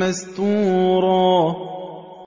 مَّسْتُورًا